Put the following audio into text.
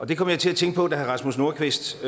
det kom jeg til at tænke på da herre rasmus nordqvist